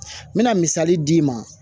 N bɛna misali d'i ma